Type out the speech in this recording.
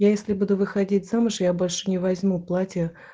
я если буду выходить замуж я больше не возьму платье